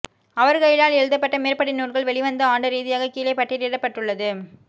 அவர்களினால் எழுதப்பட்ட மேற்படி நூல்கள் வெளிவந்த ஆண்டு ரீதியாக கீழே பட்டியலிடப்பட்டுள்ளது